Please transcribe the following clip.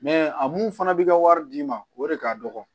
a mun fana bɛ ka wari d'i ma o de ka dɔgɔ